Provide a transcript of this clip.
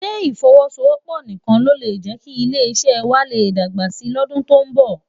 Sé ifòwòsówòpò nikán ló lé jēki ilé iṣè wâ lé dágbá si lòdún tó n bò?